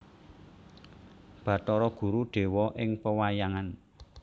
Bathara Guru dewa ing pewayangan